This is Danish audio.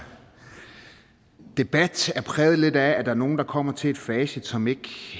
debat er præget lidt af at der er nogle der kommer til et facit som ikke